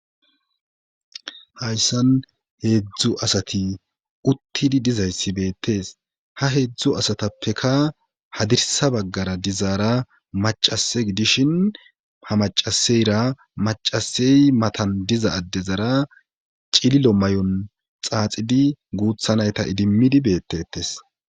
Hayssan heedzdzu asati uttidi dizayssi beettees ha heedzdzu asatappeka hadirsa baggara dizaara macase gidishin ha macaseyra macasey matan diza addezara cililo may7on xaaxidi guuthanayta idimmidi beettetes.